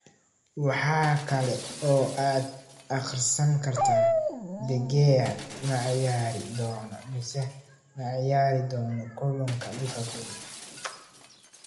Waxaa kale oo aad akhrisan kartaa: De Gea ma ciyaari doonaa mise ma ciyaari doono kulanka Liverpool?